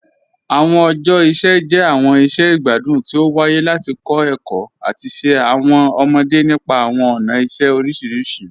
Awọn ọjọ iṣẹ jẹ awọn iṣẹ igbadun ti o waaye lati kọ ẹkọ ati ṣe awọn ọmọde nípa awọn ọna iṣẹ oriṣiriṣi.